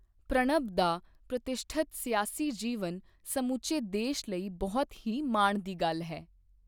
ਪ੍ਰਣਬ ਦਾ ਪ੍ਰਤਿਸ਼ਠਤ ਸਿਆਸੀ ਜੀਵਨ ਸਮੁੱਚੇ ਦੇਸ਼ ਲਈ ਬਹੁਤ ਹੀ ਮਾਣ ਦੀ ਗੱਲ ਹੈ।